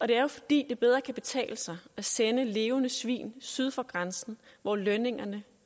det er jo fordi det bedre kan betale sig at sende levende svin syd for grænsen hvor lønningerne